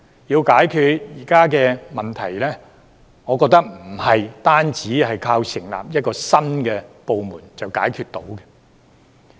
要解決現時的問題，我覺得不是單靠成立一個新部門便可解決。